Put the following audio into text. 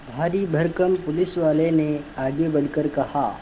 भारीभरकम पुलिसवाले ने आगे बढ़कर कहा